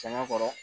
Sɛgɛn kɔrɔ